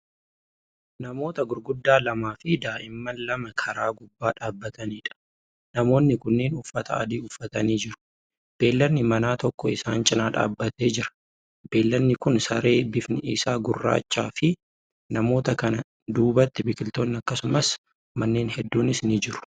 Namoota gurguddaa lamafi daa'imman lama karaa gubbaa dhaabataniidha. namoonni kunniin uffata adii uffatanii jiru. beeyladni manaa tokko isaan cinaa dhaabatee jira. beeyladni Kuni saree bifni Isaa gurraachaafi. namoota kana duubatti biqiltoonni akkasumas manneen hedduunis ni jiru.